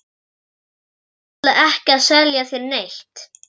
Ég ætla ekki að selja þér neitt.